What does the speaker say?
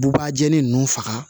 Bubajani ninnu faga